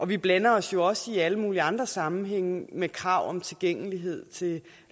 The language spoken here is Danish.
vi blander os jo også i alle mulige andre sammenhænge med krav om tilgængelighed til